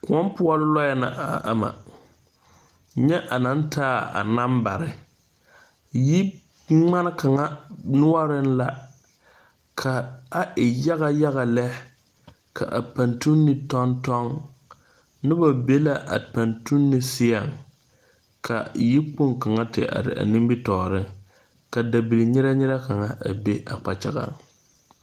Kʋɔ pʋɔ lɔɛ la a ama a taa nanbare. Yigmane kaŋ nuureŋ la ka a e yaga yaga lɛ. Paŋtuŋne tɔŋ tɔŋɛɛ la kyɛ ka noba be a paŋtuŋne seɛ kyɛ ka yikpong kaŋ te are a nimitɔɔreŋ ka dabil bile bile kaŋ be a kpakyaga pʋɔ.